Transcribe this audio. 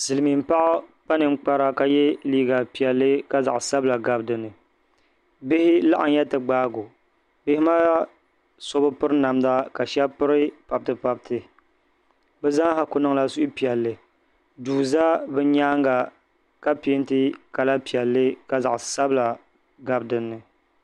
Silimiin’ paɣa kpa ninkpara ka ye liiga’ piɛlli ka zaɣ’ sabila gabi di ni Bihi laɣinya ti gaagi o bihi maa so bi piri namda ka shɛba piri pabtipabti bɛ zaa kuli niŋla suhupiɛlli duu za bɛ nyaanga ka peenti kala piɛlli ka zaɣ’ sabila gabi di ni